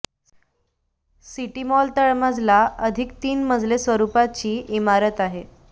city centre mall तळमजला अधिक तीन मजले स्वरूपाची इमारत आहे